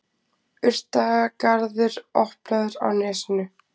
Urtagarður opnaður á Nesinu